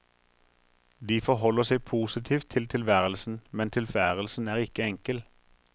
De forholder seg positivt til tilværelsen, men tilværelsen er ikke enkel.